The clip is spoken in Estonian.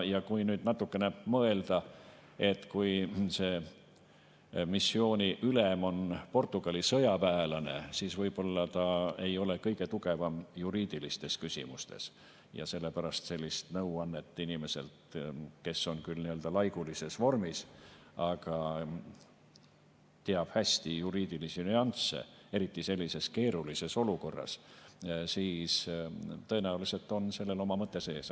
Ja kui nüüd natukene mõelda, et kui see missiooni ülem on Portugali sõjaväelane, võib-olla ta ei ole kõige tugevam juriidilistes küsimustes ja ta saab sellist nõuannet inimeselt, kes on küll nii-öelda laigulises vormis, aga teab hästi juriidilisi nüansse, eriti sellises keerulises olukorras, siis tõenäoliselt on sellel oma mõte sees.